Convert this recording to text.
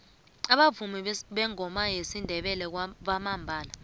abavumi beengoma zesindebele bambalwa